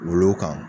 Wolo kan